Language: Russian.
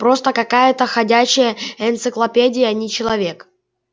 просто какая-то ходячая энциклопедия а не человек